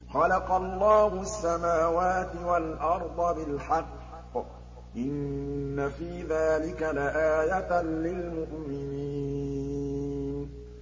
خَلَقَ اللَّهُ السَّمَاوَاتِ وَالْأَرْضَ بِالْحَقِّ ۚ إِنَّ فِي ذَٰلِكَ لَآيَةً لِّلْمُؤْمِنِينَ